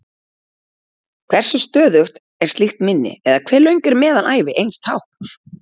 Hversu stöðugt er slíkt minni, eða hve löng er meðalævi eins tákns?